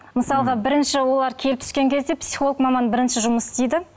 мысалға бірінші олар келіп түскен кезде психолог маман бірінші жұмыс істейді